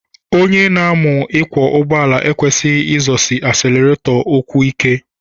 Onye na-amu ịkwọ ụgbọala ekwesighi izọsi asileretọ ụkwụ ike.